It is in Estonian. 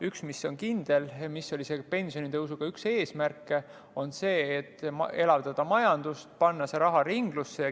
Üks on kindel, see oli isegi pensionitõusu üks eesmärke: elavdada majandust ja panna see raha ringlusse.